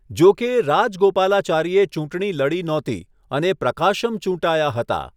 જો કે, રાજગોપાલાચારીએ ચૂંટણી લડી નહોતી, અને પ્રકાશમ ચૂંટાયા હતા.